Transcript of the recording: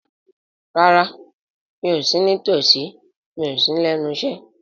Rárá, mi ò sí ní tòsí, mi ò sí lẹ́nu iṣẹ́